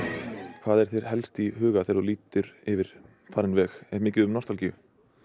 hvað er þér helst í huga þegar þú lítur yfir farinn veg er mikið um nostalgíu